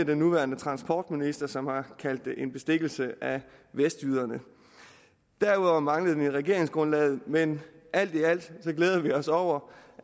den nuværende transportminister som har kaldt det en bestikkelse af vestjyderne derudover manglede det i regeringsgrundlaget men alt i alt glæder vi os over